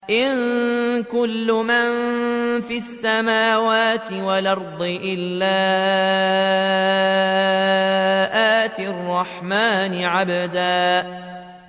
إِن كُلُّ مَن فِي السَّمَاوَاتِ وَالْأَرْضِ إِلَّا آتِي الرَّحْمَٰنِ عَبْدًا